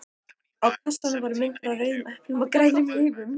Á kassanum voru myndir af rauðum eplum og grænum laufum.